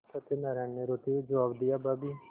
सत्यनाराण ने रोते हुए जवाब दियाभाभी